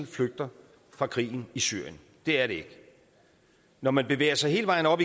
flygter fra krigen i syrien det er det ikke når man bevæger sig hele vejen op